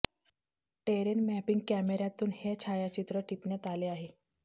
terrain mapping कॅमेऱ्यातून हे छायाचित्र टिपण्यात आले आहे